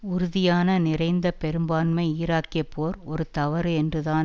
உறுதியான நிறைந்த பெரும்பான்மை ஈராக்கிய போர் ஒரு தவறு என்றுதான்